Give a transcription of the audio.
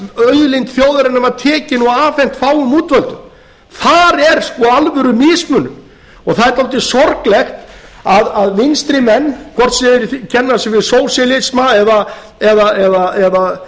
auðlind þjóðarinnar var tekin og afhent fáum útvöldu þar er sko alvöru mismunun það er dálítið sorglegt að vinstrimenn hvort sem þeir kenna sig við sósíalisma eða